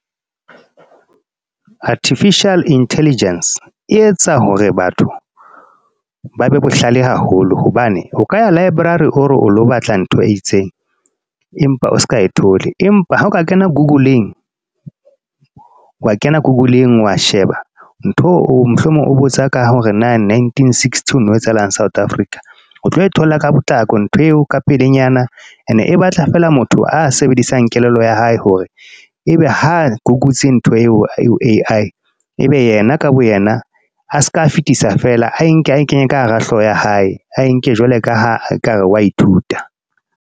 Artificial Intelligence, e etsa hore batho ba be bohlale haholo. Hobane, o ka ya library o lo batla ntho e itseng. Empa o seka e thola. Empa ha o ka kena google-ng, wa kena google-ng, wa sheba. Ntho mohlomong o botsa ka hore na nineteen-sixty ho no etsahalang South Africa. O tlo e thola ka potlako ntho eo ka pelenyana, e ne e batla feela motho a sebedisang a kelello ya hae. Hore ebe ha ke kotsi ntho eo ho A_I, e be yena ka bo yena a seka fetisa fela a enka ae kenye ka hara hlooho ya hae. A enke jwalo ka ha ekare wa ithuta.